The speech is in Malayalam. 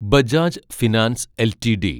Bajaj finance LTD